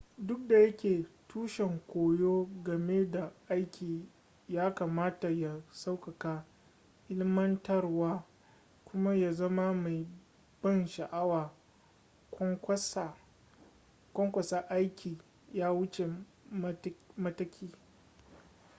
duk da yake tushen koyo game da aiki yakamata ya sauƙaƙa ilmantarwa kuma ya zama mai ban sha'awa ƙwanƙwasa aiki ya wuce mataki